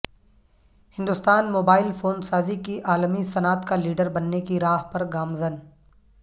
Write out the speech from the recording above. Hindustan mobile phone سازی کی عالمی صنعت کا لیڈر بننے کی راہ پر گامزن